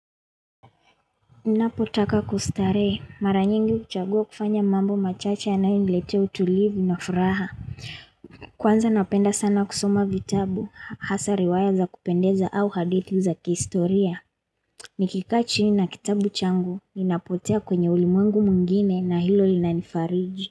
Napotaka kustarehe, mara nyingi uchagua kufanya mambo machache yanayo niletea utulivu na furaha. Kwanza napenda sana kusoma vitabu, hasa riwaya za kupendeza au hadithi za kihistoria. Nikikaa chini na kitabu changu, ninapotea kwenye ulimwengu mwngine na hilo linanifariji.